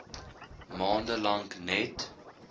maande lank net